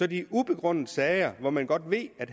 de ubegrundede sager hvor man godt ved at